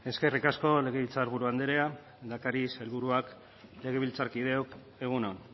eskerrik asko legebiltzarburu andrea lehendakari sailburuak legebiltzarkideok egun on